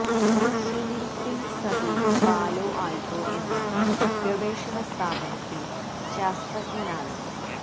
Sunil Singh Sandhu Palo Alto എന്ന ഗവേഷണ സ്ഥാപനത്തിൽ ശാസ്ത്രജ്ഞനാണ്